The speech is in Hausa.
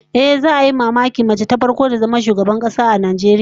Ehh, za'a yi mamakin mace ta farko ta zama shugabar kasa a Najeriya